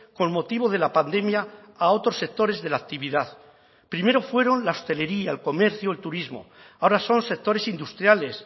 con motivo de la pandemia a otros sectores de la actividad primero fueron la hostelería el comercio el turismo ahora son sectores industriales